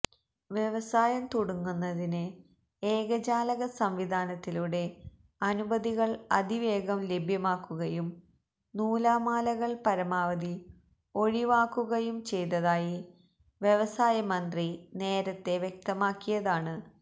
വ്യവസായം തുടങ്ങുന്നതിന് ഏകജാലക സംവിധാനത്തിലൂടെ അനുമതികൾ അതിവേഗം ലഭ്യമാക്കുകയും നൂലാമാലകൾ പരമാവധി ഒഴിവാക്കുകയും ചെയ്തതായി വ്യവസായ മന്ത്രി നേരത്തേ വ്യക്തമാക്കിയതാണ്